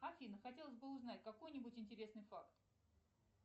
афина хотелось бы узнать какой нибудь интересный факт